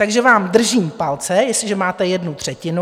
Takže vám držím palce, jestliže máte jednu třetinu.